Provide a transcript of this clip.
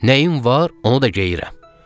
Nəyin var, onu da geyirəm.